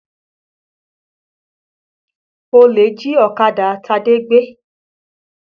Olè jí ọ̀kadà Tade gbé